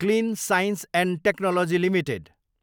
clean science and technology limited